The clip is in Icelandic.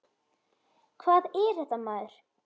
Hvað er þetta maður?